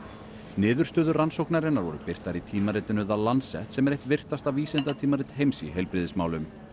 niðurstöður rannsóknarinnar voru birtar í tímaritinu The Lancet sem er eitt virtasta vísindatímarit heims í heilbrigðismálum